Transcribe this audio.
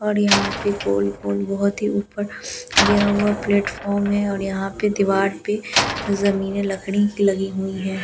और यहाँ पर गोल गोल बहुत ही ऊपर गया हुआ प्लेटफॉर्म है और यहाँ पे दीवार पे ज़मीरे लकड़ी लगी हुई है ।